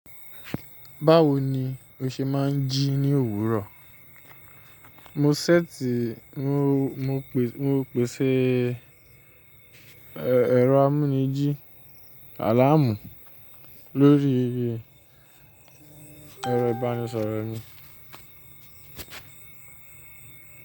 Báwo ni o ṣe máa ń jí ní òwúrọ̀? Mo ṣẹ̀tì, mo pèsè ẹ̀rọ amúnijí àlàamú lórí ẹ̀rọ ìbánisọ̀rọ̀ mi.